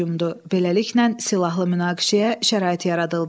Beləliklə, silahlı münaqişəyə şərait yaradıldı.